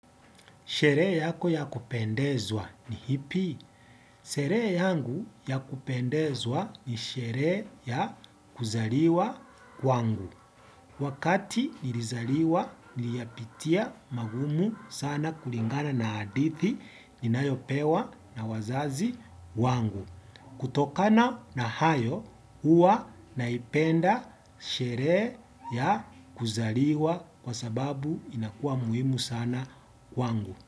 Sherehe yako ya kupendezwa ni ipi. Sherehe yangu ya kupendezwa ni sherehe ya kuzaliwa kwangu. Wakati nilizaliwa niliyapitia magumu sana kulingana na hadithi ninayopewa na wazazi wangu. Kutokana na hayo huwa naipenda sherehe ya kuzaliwa kwa sababu inakua muhimu sana kwangu.